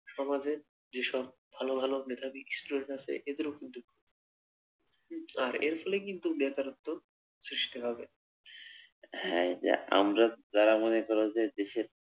সমাজে যেসব ভালো ভালো মেধাবি students রা আছে এদেরও কিন্তু ক্ষতি আহ এর ফলে কিন্তু বেকারত্ব সৃষ্টি হবে, হ্যা এই যে আমরা যারা মনে করো যে দেশের